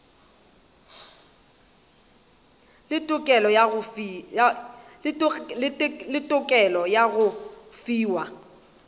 le tokelo ya go fiwa